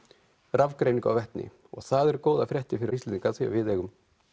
rafgreiningu á vetni og það eru góðar fréttir fyrir Íslendinga af því við eigum